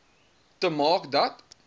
te maak dat